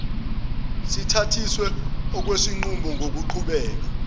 sithathiswe okwesinqumo ngokubheka